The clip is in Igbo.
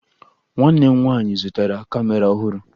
Nwanne m nwaanyị zụtara kamera ọhụrụ